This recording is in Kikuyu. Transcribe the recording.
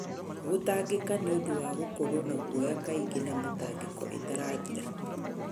Gũtangĩka nĩ ũndũ wa gũkorwo na guoya kaingĩ na mĩtangĩko ĩtarathira.